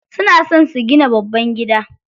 Suna so su gina babban gida.